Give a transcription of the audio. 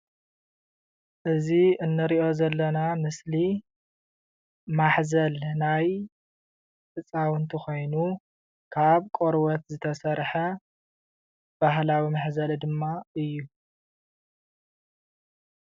እዚ እንሪኦ ዘለና ምስሊ ማሕዘል ናይ ህፃውንቲ ኮይኑ ካብ ቆርበት ዝተሰርሐ ባህላዊ መሕዘሊ ድማ እዩ፡፡